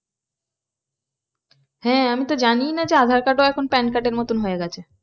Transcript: হ্যাঁ আমি তো জানি না যে aadhaar card ও এখন PAN card এর মতো হয়ে গেছে।